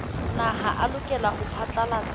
naha a lokela ho phatlalatsa